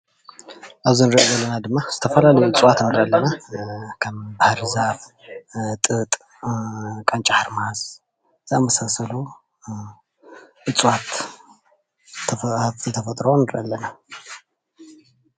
እዚ እንሪአ ዘለና ድማ ዝተፈላለዩ እፅዋት ንርኢ ኣለና፡፡ ከም ባህርዛፍ፣ ጥጥ ፣ቃንጫ ሓርማዝ ዝኣምሳሰሉ እፅዋት ሃፍቲ ተፈጥሮ ንርኢ ኣለና፡፡